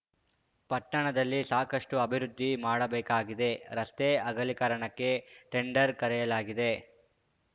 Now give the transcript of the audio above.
ಪಟ್ಟಣದಲ್ಲಿ ಸಾಕಷ್ಟುಅಭಿವೃದ್ದಿ ಮಾಡಬೇಕಾಗಿದೆ ರಸ್ತೆ ಅಗಲೀಕರಣಕ್ಕೆ ಟೆಂಡರ್‌ ಕರೆಯಲಾಗಿದೆ